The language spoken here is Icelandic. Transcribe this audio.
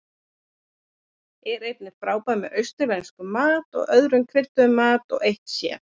Er einnig frábært með austurlenskum mat og öðrum krydduðum mat, og eitt sér.